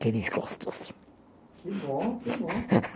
Que desgostos. Que bom, que bom.